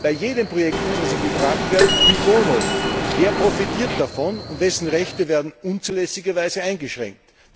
Bei jedem Projekt muss also gefragt werden cui bono wer profitiert davon und wessen Rechte werden unzulässigerweise eingeschränkt?